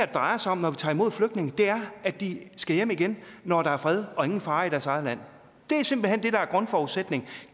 drejer sig om når vi tager imod flygtninge er at de skal hjem igen når der er fred og ingen fare i deres eget land det er simpelt hen det der er grundforudsætningen